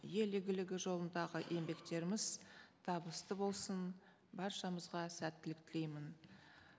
ел игілігі жолындағы еңбектеріміз табысты болсын баршамызға сәттілік тілеймін